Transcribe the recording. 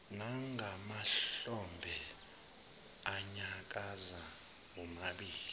nangamahlombe anyakaza womabili